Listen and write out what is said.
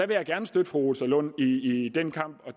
vil gerne støtte fru rosa lund i den kamp og